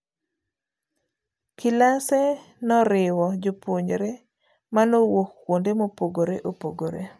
Kilase noriwo jopuonjre manowuok kuonde mopogre opogre.